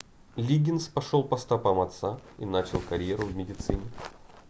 лиггинс пошел по стопам отца и начал карьеру в медицине